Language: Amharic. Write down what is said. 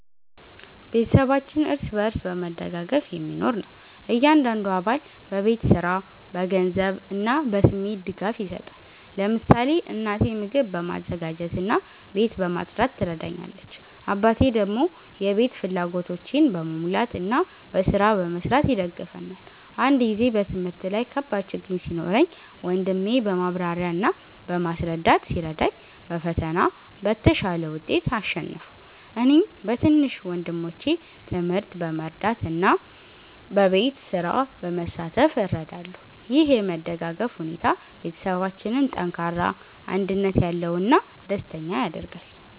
ቤተሰባችን እርስ በርስ በመደጋገፍ የሚኖር ነው። እያንዳንዱ አባል በቤት ስራ፣ በገንዘብ እና በስሜት ድጋፍ ይሰጣል። ለምሳሌ እናቴ ምግብ በማዘጋጀት እና ቤት በማጽዳት ትረዳኛለች፣ አባቴ ደግሞ የቤት ፍላጎቶችን በመሙላት እና በስራ በመስራት ይደግፈናል። አንድ ጊዜ በትምህርት ላይ ከባድ ችግኝ ሲኖረኝ ወንድሜ በማብራሪያ እና በማስረዳት ሲረዳኝ በፈተና በተሻለ ውጤት አሸነፍሁ። እኔም በትንሽ ወንድሞቼ ትምህርት በመርዳት እና በቤት ስራ በመሳተፍ እረዳለሁ። ይህ የመደጋገፍ ሁኔታ ቤተሰባችንን ጠንካራ፣ አንድነት ያለው እና ደስተኛ ያደርጋል።